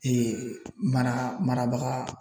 mara marabaga